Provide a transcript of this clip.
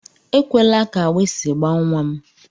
Ekwela ka agbịsị gbaa nnwa m!